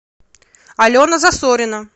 алена засорина